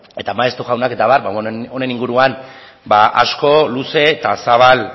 eta maeztu jaunak eta abar honen inguruan asko luze eta zabal